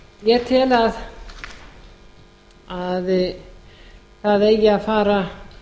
ég tel að það eigi að fara